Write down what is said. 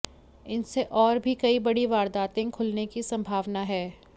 इनसे और भी कई बड़ी वारदातें खुलने की संभावना है